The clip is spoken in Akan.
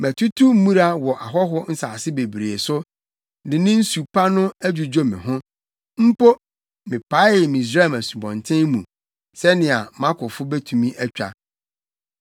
Matutu mmura wɔ ahɔho nsase bebree so de ne nsu pa no adwudwo me ho. Mpo, mepaee Misraim nsubɔnten mu sɛnea mʼakofo betumi atwa!’